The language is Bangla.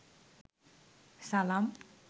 সালাম